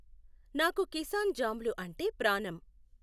నాకు కిసాన్ జామ్లు అంటే ప్రాణం